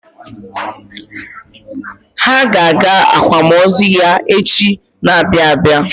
Ha ga-aga akwamozu ya echi na-abịa abịa.